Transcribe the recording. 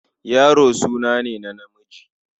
Yaro suna ne na namiji.